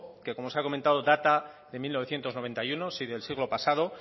que como se ha comentado data de mil novecientos noventa y uno del siglo pasado